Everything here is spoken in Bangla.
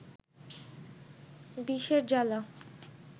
বিষের জ্বালা